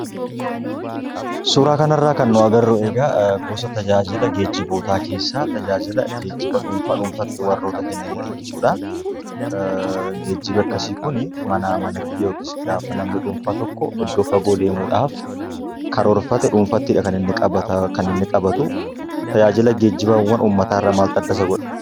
Suuraa kanarraa kan nu agarru egaa gosa tajaajila geejjibootaa keessaa tajaajila geejjiba dhuunfaa dhuunfaatti warroota kennanidha jechuudhaa. Geejjibi akkasii kuni manaa manatti yookis gaafa namni dhuunfaa tokko iddoo fagoo deemuudhaaf karoorfate dhuunfattidha kan inni qabatuu. Tajaajila geejjibaawwan uummataarraa maaltu adda isa godha?